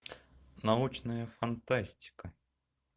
научная фантастика